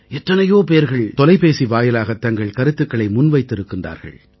எத்தனையோ பேர்கள் தொலைபேசி வாயிலாகத் தங்கள் கருத்துக்களை முன்வைத்திருக்கின்றார்கள்